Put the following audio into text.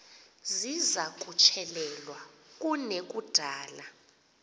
ziza kutyelelwa kunekudala